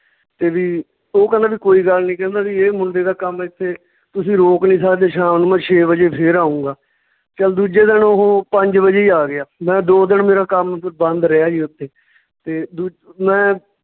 ਤੇ ਵੀ ਓਹ ਕਹਿੰਦਾ ਵੀ ਕੋਈ ਗੱਲ ਨੀ ਕਹਿੰਦੇ ਵੀ ਇਹ ਮੁੰਡੇ ਦਾ ਕੰਮ ਏਥੇ ਤੁਸੀਂ ਰੋਕ ਨੀ ਸਕਦੇ ਸ਼ਾਮ ਨੂੰ ਛੇ ਵਜੇ ਫੇਰ ਆਉਂਗਾ, ਚੱਲ ਦੂਜੇ ਦਿਨ ਓਹ ਪੰਜ ਵਜੇ ਹੀ ਆ ਗਿਆ ਮੈਂ ਦੋ ਦਿਨ ਮੇਰਾ ਕੰਮ ਬੰਦ ਰਿਹਾ ਜੀ ਓਥੇ ਤੇ ਦੂ ਮੈਂ